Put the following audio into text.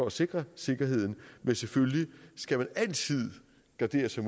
at sikre sikkerheden men selvfølgelig skal man altid gardere sig